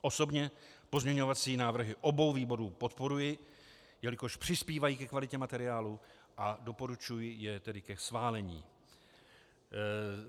Osobně pozměňovací návrhy obou výborů podporuji, jelikož přispívají ke kvalitě materiálu, a doporučuji je tedy ke schválení.